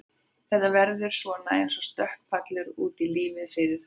Þetta verður svona eins og stökkpallur út í lífið fyrir þau.